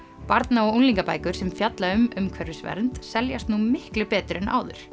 barna og unglingabækur sem fjalla um umhverfisvernd seljast nú miklu betur en áður